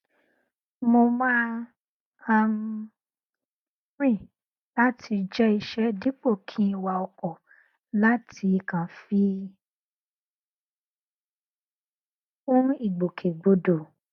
mo má um n rìn láti jẹ iṣẹ dípò kí n wa ọkọ láti kàn fi kún ìgbòkegbodò